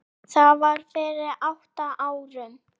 Það var fyrir átta árum